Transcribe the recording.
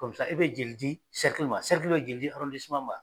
e be joli di , be joli di ?